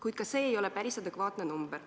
Kuid ka see ei ole päris adekvaatne number.